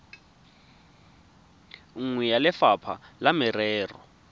nngwe ya lefapha la merero